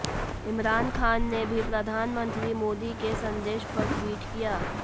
इमरान खान ने भी प्रधानमंत्री मोदी के संदेश पर ट्वीट किया